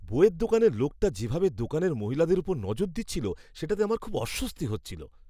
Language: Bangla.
বইয়ের দোকানের লোকটা যেভাবে দোকানের মহিলাদের ওপর নজর দিচ্ছিল, সেটাতে আমার খুব অস্বস্তি হচ্ছিল।